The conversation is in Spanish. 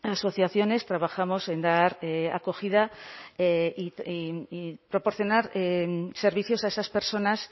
asociaciones trabajamos en dar acogida y proporcionar servicios a esas personas